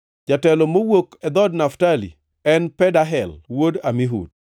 jatelo mowuok e dhood Naftali, en Pedahel wuod Amihud.”